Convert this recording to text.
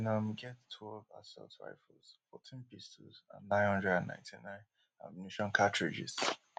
dem um bin um get twelve assault rifles fourteen pistols and nine hundred and ninety-nine ammunition cartridges